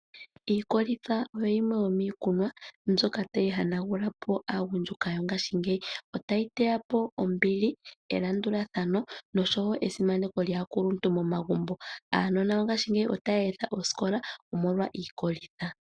Iikolitha oyo yimwe yomiikunwa mbyoka tayi hanagula po aagundjuka yongashingeyi. Otayi teya po ombili, elandulathano nosho wo esimaneko lyaakuluntu momagumbo. Aanona yongashingeyi otaya etha osikola omolwa iikolitha.